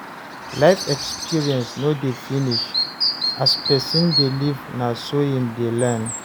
Life experience no dey finish, as person dey live na so im dey learn